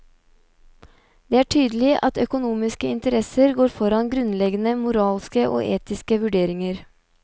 Det er tydelig at økonomiske interesser går foran grunnleggende moralske og etiske vurderinger.